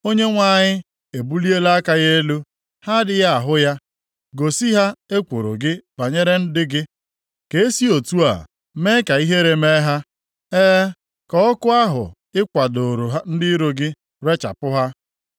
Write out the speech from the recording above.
Onyenwe anyị ebuliela aka ya elu, ha adịghị ahụ ya. Gosi ha ekworo gị banyere ndị gị, ka e si otu a mee ka ihere mee ha. E, ka ọkụ ahụ ị kwadooro ndị iro gị rechapụ ha.